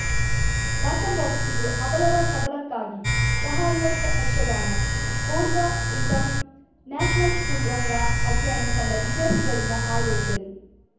ಬಾಟಂಬಾಕ್ಸ್ ಇದು ಅಬಲರ ಸಬಲಕ್ಕಾಗಿ ಸಹಾರ್ಯಾರ್ಥ ಯಕ್ಷಗಾನ ಪೋರ್ದಾ ಇಂಟಂ ನ್ಯಾಷನಲ್‌ ಸ್ಕೂಲ್‌ ರಂಗ ಅಧ್ಯಯನ ತಂಡ ವಿದ್ಯಾರ್ಥಿಗಳಿಂದ ಆಯೋಜನೆ